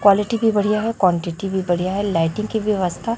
quality भी बढ़िया हैं क्वांटिटी भी बढ़िया हैं लाईटिंग की व्यवस्था--